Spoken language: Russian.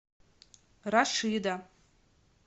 рашида